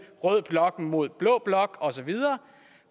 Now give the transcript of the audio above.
rød blok mod blå blok og så videre